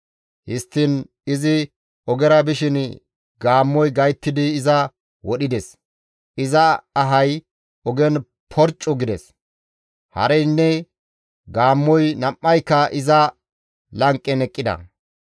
Histtiin izi ogera bishin gaammoy gayttidi iza wodhides. Iza ahay ogen porccu gides; hareynne gaammoy nam7ayka iza lanqen eqqida.